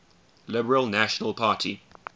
liberal national party